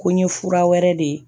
Ko ɲe fura wɛrɛ de